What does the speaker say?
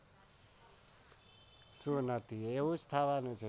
શૂ નથી એવુજ થવાનું છે.